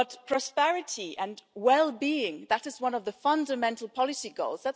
Prosperity and well-being that is one of the Union's fundamental policy goals.